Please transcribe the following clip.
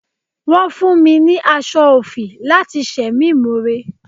Wọ́n fún mi ní aṣọ òfì láti ṣe mí more.